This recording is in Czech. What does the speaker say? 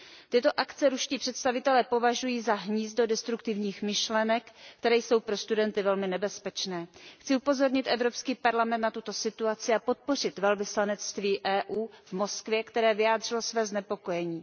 Tyto akce ruští představitelé považují za hnízdo destruktivních myšlenek, které jsou pro studenty velmi nebezpečné. Chci upozornit Evropský parlament na tuto situaci a podpořit zastoupení Evropské unie v Moskvě, které vyjádřilo své znepokojení.